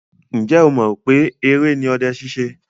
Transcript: Ǹjẹ́ ọ mọ̀ pé eré ni ọdẹ ṣíṣe?